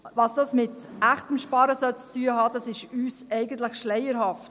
Was dies mit echtem Sparen zu tun haben soll, ist uns eigentlich schleierhaft.